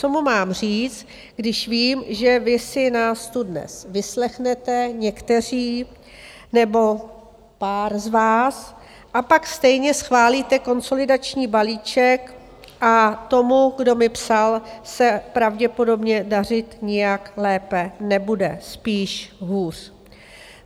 Co mu mám říct, když vím, že vy si nás tu dnes vyslechnete, někteří, nebo pár z vás a pak stejně schválíte konsolidační balíček a tomu, kdo mi psal, se pravděpodobně dařit nijak lépe nebude, spíš hůř.